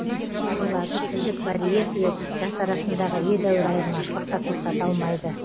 оларды тілдік барьер де жас арасындағы едәуір айырмашылық та тоқтата алмайды